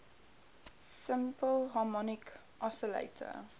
simple harmonic oscillator